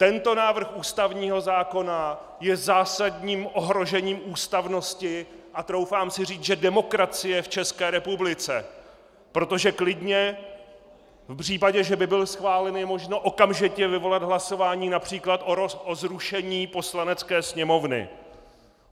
Tento návrh ústavního zákona je zásadním ohrožením ústavnosti a troufám si říct, že demokracie v České republice, protože klidně v případě, že by byl schválen, je možno okamžitě vyvolat hlasování například o zrušení Poslanecké sněmovny.